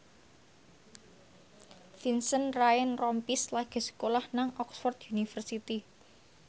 Vincent Ryan Rompies lagi sekolah nang Oxford university